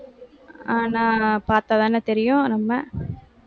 ஆஹ் நான் பார்த்தாதான தெரியும் நம்ம